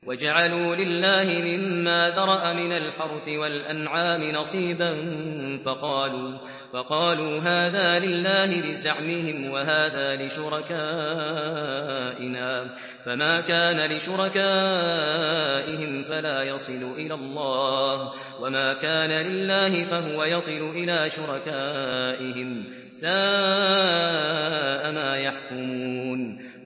وَجَعَلُوا لِلَّهِ مِمَّا ذَرَأَ مِنَ الْحَرْثِ وَالْأَنْعَامِ نَصِيبًا فَقَالُوا هَٰذَا لِلَّهِ بِزَعْمِهِمْ وَهَٰذَا لِشُرَكَائِنَا ۖ فَمَا كَانَ لِشُرَكَائِهِمْ فَلَا يَصِلُ إِلَى اللَّهِ ۖ وَمَا كَانَ لِلَّهِ فَهُوَ يَصِلُ إِلَىٰ شُرَكَائِهِمْ ۗ سَاءَ مَا يَحْكُمُونَ